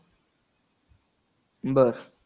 बरं.